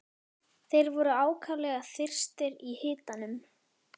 Þeir voru ákaflega þyrstir í hitanum.